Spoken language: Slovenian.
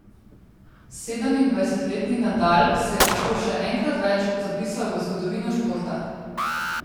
Sedemindvajsetletni Nadal se je tako še enkrat več zapisal v zgodovino športa.